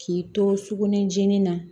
K'i to sukunɛ jenin na